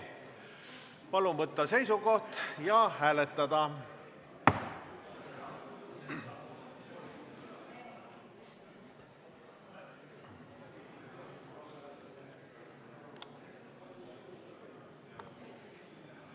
Palun võtta seisukoht ja hääletada!